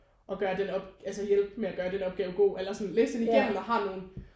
Og gør den altså hjælpe med at gøre den opgave god og læse den igennem og har nogen